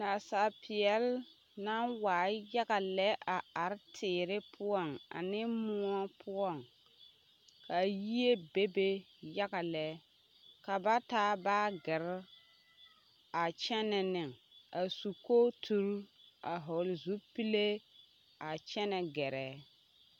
Naasaapeɛle naŋ waa yaga lɛ a are teere poɔŋ ane moɔ poɔŋ ka yie bebe yaga lɛ ka ba taa baagirre a kyɛnɛ neŋ a su kooturre a hɔɔle zupile kyɛ a kyɛnɛ gɛrɛ.